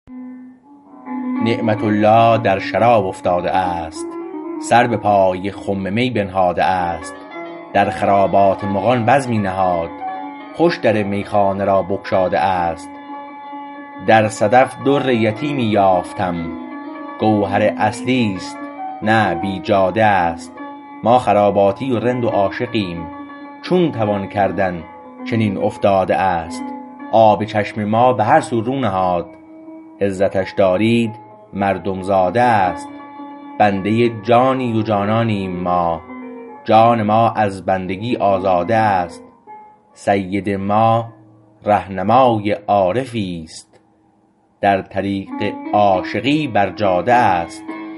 نعمة الله در شراب افتاده است سر به پای خم می بنهاده است در خرابات مغان بزمی نهاد خوش در میخانه را بگشاده است در صدف در یتیمی یافتم گوهر اصلی است نه بیجاده است ما خراباتی و رند و عاشقیم چون توان کردن چنین افتاده است آب چشم ما به هر سو رو نهاد عزتش دارید مردم زاده است بنده جانی و جانانیم ما جان ما از بندگی آزاده است سید ما رهنمای عارفیست در طریق عاشقی بر جاده است